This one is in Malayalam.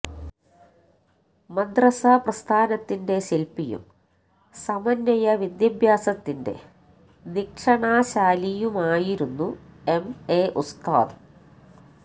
മദ്റസ പ്രസ്ഥാനത്തിന്റെ ശില്പിയും സമന്വയ വിദ്യാഭ്യാസത്തിന്റെ ദിഷണാശാലിയുമായിരുന്നു എം എ ഉസ്താദ്